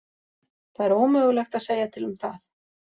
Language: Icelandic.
Það er ómögulegt að segja til um það.